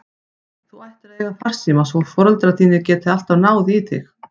Þú ættir að eiga farsíma svo foreldrar þínir geti alltaf náð í þig.